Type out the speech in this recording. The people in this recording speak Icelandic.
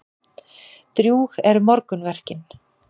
Drjúg eru morgunverkin.